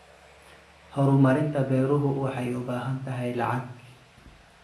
Horumarinta beeruhu waxay u baahan tahay lacag.